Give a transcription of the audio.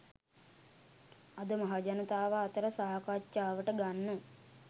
අද මහජනතාව අතර සාකච්ඡාවට ගන්න